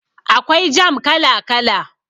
Akwai jam kala kala